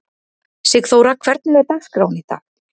Sigþóra, hvernig er dagskráin í dag?